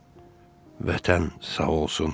Vətən sağ olsun.